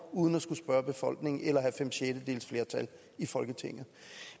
uden at skulle spørge befolkningen eller have fem sjettedeles flertal i folketinget